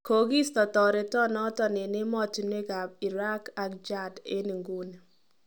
Kogisto terenoton en emotunwek ab Iraq ak Chad en ingunii.